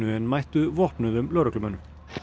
en mættu vopnuðum lögreglumönnum